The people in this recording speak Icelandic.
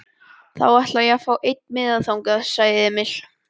Þá ætla ég að fá einn miða þangað, sagði Emil.